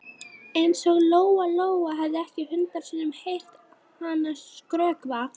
Eins og Lóa Lóa hefði ekki hundrað sinnum heyrt hana skrökva.